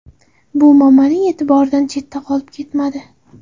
Bu Momaning e’tiboridan chetda qolib ketmadi.